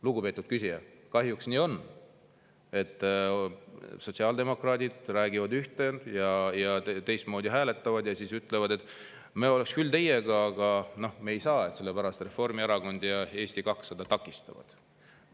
Lugupeetud küsija, kahjuks nii on, et sotsiaaldemokraadid räägivad ühte ja hääletavad teistmoodi, ja siis ütlevad, et me oleks küll teiega, aga me ei saa, sellepärast et Reformierakond ja Eesti 200 takistavad.